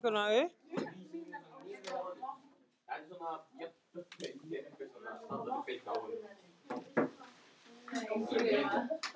Mánadís, stilltu tímamælinn á sex mínútur.